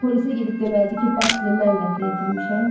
Polisə gedib deməlidir ki, Basili mən qətlə yetirmişəm?